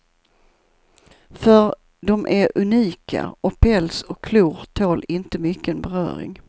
För de är unika, och päls och klor tål inte mycken beröring.